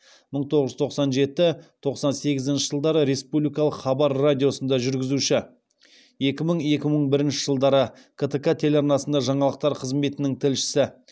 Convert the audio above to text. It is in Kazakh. мың тоғыз жүз тоқсан жеті тоқсан сегізінші жылдары республикалық хабар радиосында жүргізуші екі мың екі мың бірінші жылдары ктк телеарнасында жаңалықтар қызметінің тілшісі